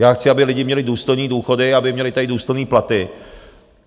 Já chci, aby lidi měli důstojné důchody, aby měli tady důstojné platy.